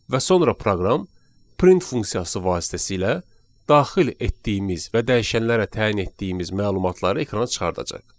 Və sonra proqram print funksiyası vasitəsilə daxil etdiyimiz və dəyişənlərə təyin etdiyimiz məlumatları ekrana çıxardacaq.